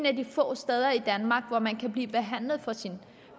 af de få steder i danmark hvor man kan blive behandlet for sin